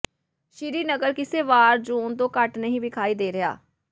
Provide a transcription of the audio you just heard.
ਸ਼੍ਰੀਨਗਰ ਕਿਸੇ war zone ਤੋਂ ਘੱਟ ਨਹੀਂ ਵਿਖਾਈ ਦੇ ਰਿਹਾ